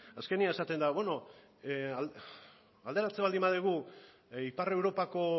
azkenean esaten da bueno alderatzen baldin badugu ipar europako